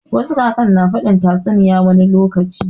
Wasu kakan ne na faɗin tatsuniya wani lokaci